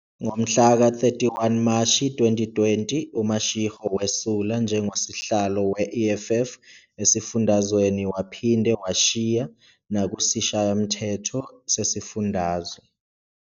Ngomhlaka 31 Mashi 2020, uMashego wesula njengoSihlalo we-EFF esifundazweni waphinde washiya nakuSishayamthetho sesifundazwe.